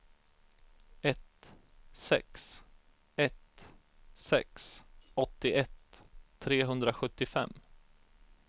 ett sex ett sex åttioett trehundrasjuttiofem